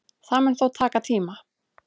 Það mun þó taka tíma